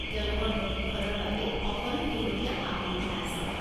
তেওঁলোকৰ প্ৰশিক্ষণৰ বাবে সকলো শেহতীয়া সা-সুবিধা আছে।